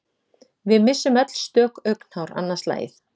Við missum öll stök augnhár annað slagið.